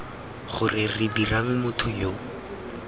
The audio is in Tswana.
gore re dirang motho yo